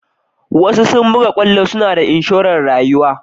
wasuasu buga kwallo suna da inshoren rayuwa.